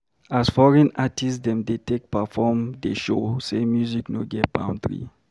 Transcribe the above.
As foreign artist dem dey take perform dey show sey music no get boundary.